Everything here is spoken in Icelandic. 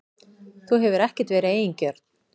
Þú hefur ekkert verið eigingjörn.